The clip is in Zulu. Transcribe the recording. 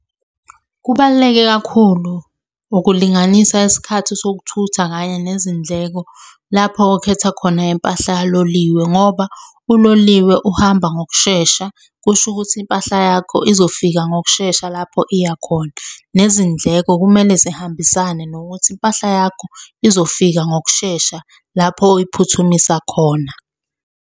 Kubaluleke kakhulu ukulinganisa isikhathi sokuthutha kanye nezindleko lapho okhetha khona impahla kaloliwe ngoba uloliwe uhamba ngokushesha, kusho ukuthi impahla yakho izofika ngokushesha lapho iya khona. Nezindleko kumele zihambisane nokuthi impahla yakho izofika ngokushesha lapho oyiphuthumisa khona.